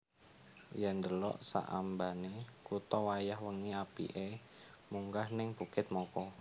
Yen ndelok sak ambane kuto wayah wengi apike munggah ning Bukit Moko